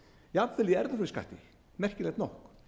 jafnvel í erfðafjárskatti merkilegt nokk